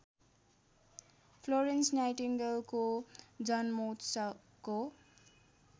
Florence नाइटिङ्गेलको जन्मोत्सवको